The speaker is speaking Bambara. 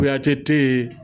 Kuyatɛ tɛ yen